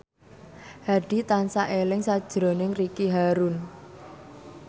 Hadi tansah eling sakjroning Ricky Harun